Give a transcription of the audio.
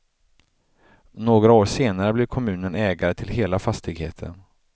Några år senare blev kommunen ägare till hela fastigheten.